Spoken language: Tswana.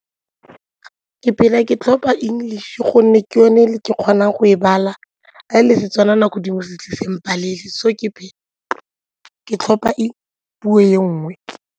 Ke phela ke tlhopa English gonne ke yone e ke kgonang go e bala, ga le Setswana nako dingwe se a tle se mpalelwe so ke phela ke tlhopa e puo e nngwe.